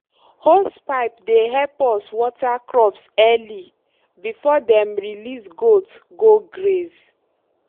hosepipe dey help us water crops early before dem release goat go graze.